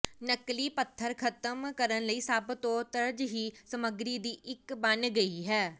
ਨਕਲੀ ਪੱਥਰ ਖ਼ਤਮ ਕਰਨ ਲਈ ਸਭ ਨੂੰ ਤਰਜੀਹ ਸਮੱਗਰੀ ਦੀ ਇੱਕ ਬਣ ਗਈ ਹੈ